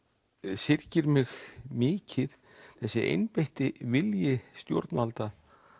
syrgir mig mikið þessi einbeitti vilji stjórnvalda